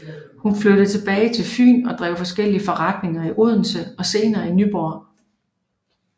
Hun flyttede tilbage til Fyn og drev flere forskellige forretninger i Odense og senere i Nyborg